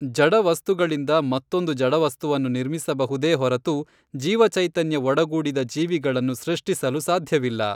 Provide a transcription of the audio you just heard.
ಜಡ ವಸ್ತುಗಳಿಂದ ಮತ್ತೊಂದು ಜಡವಸ್ತುವನ್ನು ನಿರ್ಮಿಸಬಹುದೇ ಹೊರತು ಜೀವಚೈತನ್ಯ ಒಡಗೂಡಿದ ಜೀವಿಗಳನ್ನು ಸೃಷ್ಟಿಸಲು ಸಾಧ್ಯವಿಲ್ಲ.